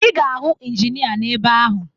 Ị ga-ahụ Injinịa n'ebe ahụ